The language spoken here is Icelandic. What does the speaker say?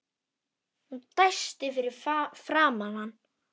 Hún dæsti fyrir framan hann.